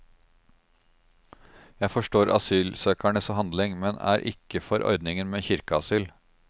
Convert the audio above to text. Jeg forstår asylsøkernes handling, men er ikke for ordningen med kirkeasyl.